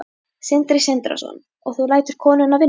Sindri Sindrason: og þú lætur konuna vinna?